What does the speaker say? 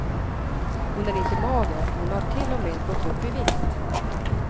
Hon är inte mager, hon har till och med gått upp i vikt.